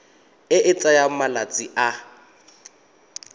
e e tsayang malatsi a